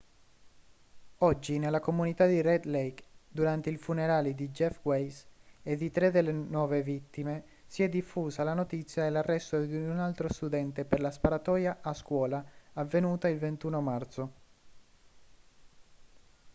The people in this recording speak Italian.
oggi nella comunità di red lake durante i funerali di jeff weise e di tre delle nove vittime si è diffusa la notizia dell'arresto di un altro studente per la sparatoria a scuola avvenuta il 21 marzo